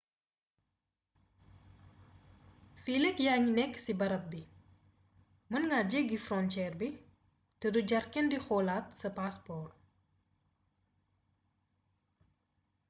fileek yaa ngi nekk ci barab bii mën nga jéggi fronceer bi te du jar kenn di xoolaat sa paaspoor